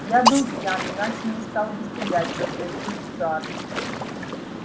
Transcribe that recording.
я был пьян иначе не стал бы стрелять возразил стюарт